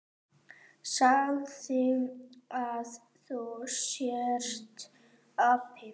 Segðu að þú sért api!